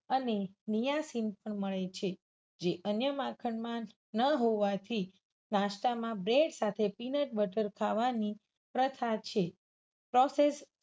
અને Niacin પણ મળે છે. જે અન્ય માખણ માં ન હોવાથી નાસ્તામાં bread સાથે peanut butter ખાવાની પ્રથા છે. process